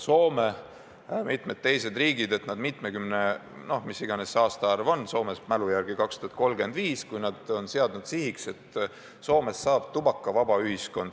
Soome ja mitmed teised riigid on seadnud eesmärgiks, et nad on mitmekümne aasta pärast – mis iganes see aastaarv on, Soomes minu mälu järgi 2035 – tubakavaba ühiskond.